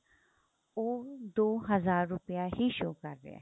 ਉਹ ਦੋ ਹਜ਼ਾਰ ਰੁਪਇਆ ਹੀ show ਕ਼ਰ ਰਿਹਾ